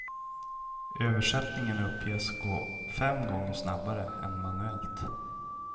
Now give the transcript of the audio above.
Översättningen uppges gå fem gånger snabbare än manuellt.